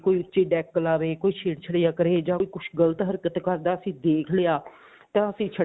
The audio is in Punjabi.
ਕੋਈ ਉੱਚੀ deck ਲਾਵੇ ਕੋਈ ਛੇੜ ਛੜੀਆ ਕਰੇ ਜਾਂ ਕੋਈ ਕੁੱਝ ਗਲਤ ਹਰਕਤ ਕਰਦਾ ਅਸੀਂ ਦੇਖ ਲਿਆ ਤਾਂ ਅਸੀਂ